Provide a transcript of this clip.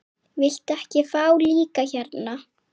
Viltu ekki fá líka hérna?